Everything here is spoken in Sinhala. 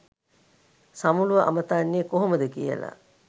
සමුළුව අමතන්නෙ කොහොමද කියලා.